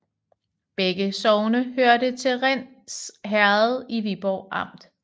Begge sogne hørte til Rinds Herred i Viborg Amt